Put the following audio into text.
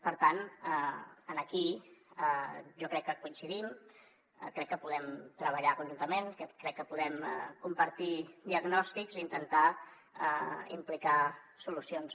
per tant aquí jo crec que coincidim crec que podem treballar conjuntament crec que podem compartir diagnòstics i intentar implicar solucions